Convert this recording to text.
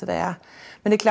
það er líklega